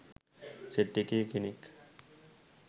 Set එකේ කෙනෙක්.